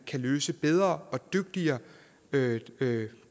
løses bedre og dygtigere dygtigere